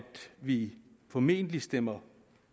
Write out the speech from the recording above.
vi formentlig stemmer